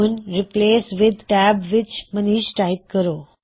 ਹੁਣ replace with tab ਵਿੱਚ Manish type ਕਰੋ